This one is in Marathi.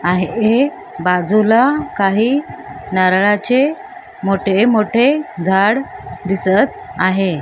आहे बाजूला काही नारळाचे मोठे मोठे झाड दिसत आहे.